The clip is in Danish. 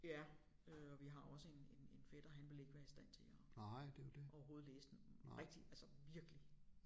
Ja øh og vi har jo også en en en fætter han ville ikke være i stand til at overhovedet læse sådan rigtig altså virkelig